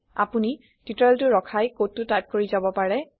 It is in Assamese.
আপোনি টিওটৰিয়েলটো ৰখাই কডটো টাইপ কৰি যাব পাৰে